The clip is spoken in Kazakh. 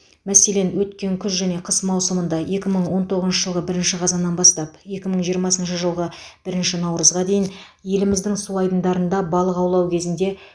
мәселен өткен күз және қыс маусымында екі мың он тоғызыншы жылғы бірінші қазаннан бастап екі мың жиырмасыншы жылғы бірінші наурызға дейін еліміздің су айдындарында балық аулау кезінде